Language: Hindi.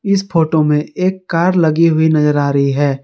इस फोटो में एक कार लगी हुई नजर आ रही है।